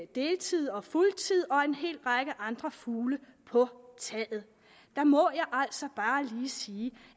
deltid og fuldtid og hel række andre fugle på taget der må jeg altså bare lige sige